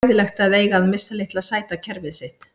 Var svona hræðilegt að eiga að missa litla sæta kerfið sitt?